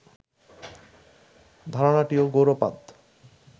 ধারণাটিও Gaudapada